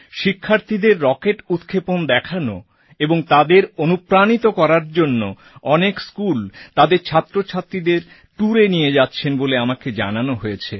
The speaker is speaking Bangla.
শিক্ষার্থীদের রকেট উৎক্ষেপণ দেখানো এবং তাদের অনুপ্রাণিত করার জন্য অনেক স্কুল তাদের ছাত্রছাত্রীদের tourএ নিয়ে যাচ্ছেন বলে আমাকে জানানো হয়েছে